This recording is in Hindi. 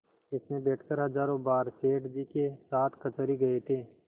इसमें बैठकर हजारों बार सेठ जी के साथ कचहरी गये थे